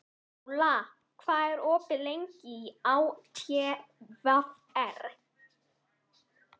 Njála, hvað er opið lengi í ÁTVR?